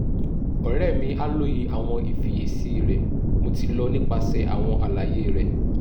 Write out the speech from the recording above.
ọrẹ mi a loye awọn ifiyesi rẹ mo ti lọ nipasẹ awọn alaye rẹ